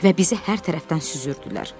Və bizi hər tərəfdən süzürdülər.